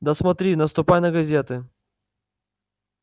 да смотри наступай на газеты